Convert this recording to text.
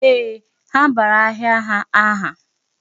Ee, ha bara ahịa ha aha.